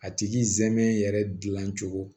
A tigi zɛmɛ yɛrɛ gilan cogo